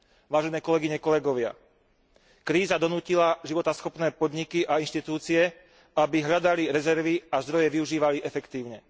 Vážené kolegyne, kolegovia, kríza donútila životaschopné podniky a inštitúcie, aby hľadali rezervy a zdroje využívali efektívne.